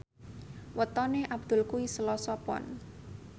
wetone Abdul kuwi Selasa Pon